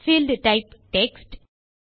field type text